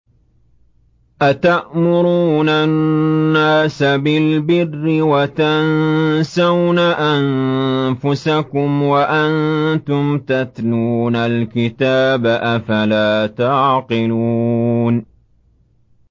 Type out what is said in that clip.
۞ أَتَأْمُرُونَ النَّاسَ بِالْبِرِّ وَتَنسَوْنَ أَنفُسَكُمْ وَأَنتُمْ تَتْلُونَ الْكِتَابَ ۚ أَفَلَا تَعْقِلُونَ